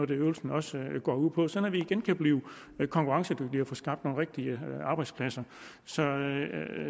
det øvelsen også går ud på sådan at vi igen kan blive konkurrencedygtige og få skabt nogle rigtige arbejdspladser så